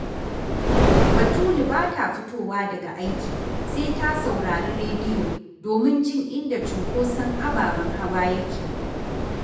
Batulu ba ta fitowa daga aiki sai ta saurari rediyo domin jin inda cunkoson ababen hawa yake